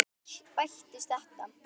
Svo bættist þetta við.